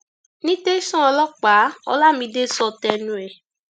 ní tẹsán ọlọpàá olamide sọ tẹnu ẹ